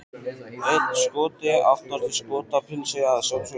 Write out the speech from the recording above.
Einn Skoti aftast, í Skotapilsi að sjálfsögðu!